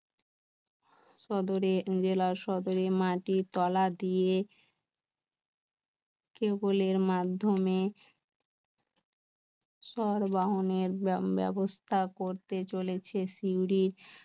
সদরে মাটির তলা দিয়ে কেবলের মাধ্যমে সব বাহনের ব্যবস্থা করতে চলেছে সিউড়ি